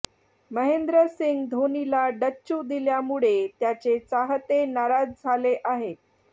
महेंद्र सिंग धोनीला डच्चू दिल्यामुळे त्याचे चाहते नाराज झाले आहेत